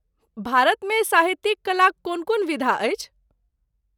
भारतमे साहित्यिक कलाक कोन कोन विधा अछि?